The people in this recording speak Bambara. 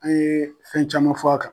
An yee fɛn caman fɔ a kan